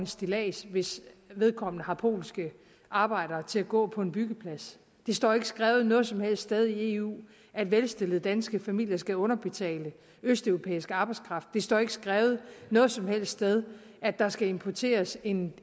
stillads hvis vedkommende har polske arbejdere til at gå på en byggeplads det står ikke skrevet noget som helst sted i eu at velstillede danske familier skal underbetale østeuropæisk arbejdskraft det står ikke skrevet noget som helst sted at der skal importeres en